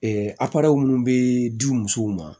aparɛ minnu bɛ di u musow ma